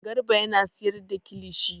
Garba yana sayar da kilishi.